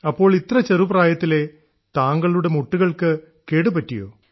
അപ്പോൾ ഇത്ര ചെറു പ്രായത്തിലേ താങ്കളുടെ മുട്ടുകൾക്ക് കേടുപറ്റിയോ